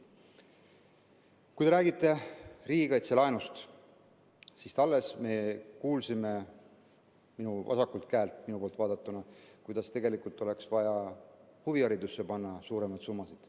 Kui te räägite riigikaitselaenust, siis alles me kuulsime minu poolt vaadatuna vasakult, et oleks vaja huviharidusse panna suuremaid summasid.